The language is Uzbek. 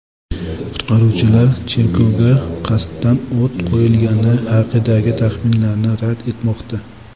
Qutqaruvchilar cherkovga qasddan o‘t qo‘yilgani haqidagi taxminlarni rad etmoqda.